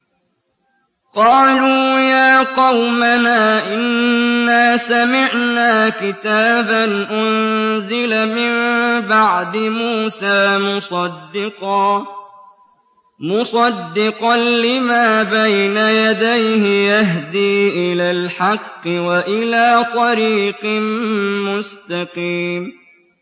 قَالُوا يَا قَوْمَنَا إِنَّا سَمِعْنَا كِتَابًا أُنزِلَ مِن بَعْدِ مُوسَىٰ مُصَدِّقًا لِّمَا بَيْنَ يَدَيْهِ يَهْدِي إِلَى الْحَقِّ وَإِلَىٰ طَرِيقٍ مُّسْتَقِيمٍ